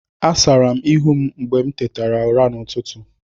Asara m ihu m mgbe m tetere ụra n'ụtụtụ.